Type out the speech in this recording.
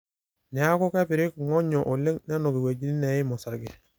neeku kepirik ing'onyo oleng nenuk iwuejitin neim osarge